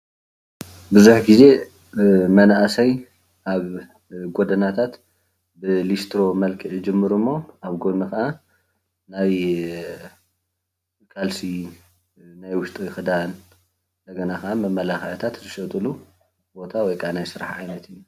ብዙሕ ግዜ መናእሳይ ኣብ ጎዳነታት ብሊስትሮ ብመልክዕ ይጅምሩ እሞ ኣብ ጎኒ ካኣ ናይ ካልሲ ናይ ውሽጢ ክዳን እንደገና ከኣ መመላኪዒታት ዝሸጥሉ ቦታ ወይ ከዓ ናይ ስራሕ ዓይነት እዩ፡፡